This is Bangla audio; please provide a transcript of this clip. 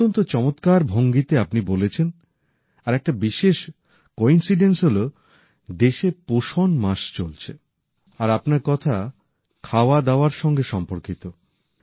অত্যন্ত চমৎকার ভঙ্গিতে আপনি বলেছেন আর একটা বিশেষ কোইন্সিডেন্স হল দেশে পোষণ মাস চলছে আর আপনার কথা খাওয়াদাওয়ার সঙ্গে সম্পর্কিত